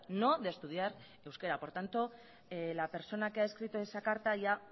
no de estudiar euskera por tanto la persona que ha escrito esa carta ya